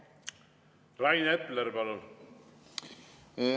Rain Epler, palun!